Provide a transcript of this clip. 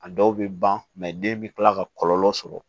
A dɔw bɛ ban den bɛ kila ka kɔlɔlɔ sɔrɔ